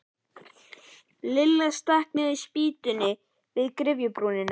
Lilla stakk niður spýtu við gryfjubrúnina.